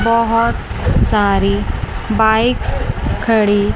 बहोत सारी बाइक्स खड़ी--